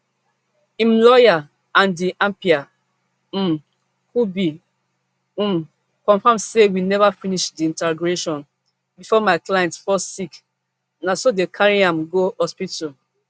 im lawyer andy appiah um kubi um confam say we neva finish di interrogation bifor my client fall sick na so dem carry am go hospital